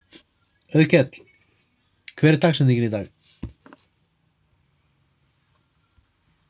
Auðkell, hver er dagsetningin í dag?